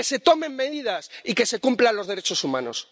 Que se tomen medidas y que se cumplan los derechos humanos.